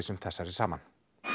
sem þessari saman